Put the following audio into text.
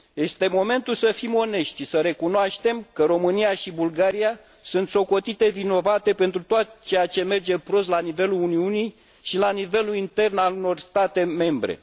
Este momentul să fim onești și să recunoaștem că România și Bulgaria sunt socotite vinovate pentru tot ceea ce merge prost la nivelul Uniunii și la nivelul intern al unor al unor state membre.